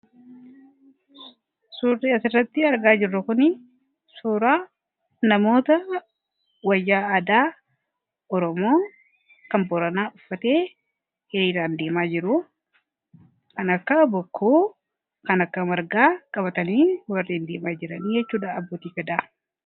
Suurri asirratti argaa jirru kun suuraa namoota wayyaa addaa oromoo kan booranaa uffatee hiriiraan deemaa jiru kan akka bokkuu kan akka margaa qabatanii deemaa jiru jechuudha abbootiin gadaa.